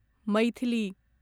Maithili